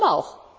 Warum auch?